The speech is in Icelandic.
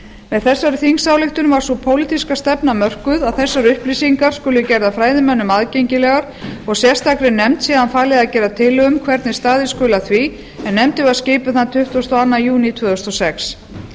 með þessari þingsályktun var sú pólitíska stefna mörkuð að þessar upplýsingar skuli gerðar fræðimönnum aðgengilegar og sérstakri nefnd síðan falið að gera tillögu um hvernig staðið skuli að því en nefndin var skipuð þann tuttugasta og öðrum júní tvö þúsund og